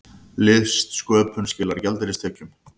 Listsköpun skilar gjaldeyristekjum